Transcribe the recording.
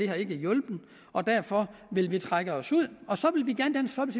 har hjulpet og derfor vil vi trække os ud og så